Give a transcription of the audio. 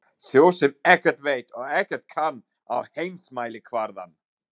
Þjóð sem ekkert veit og ekkert kann á heimsmælikvarðann.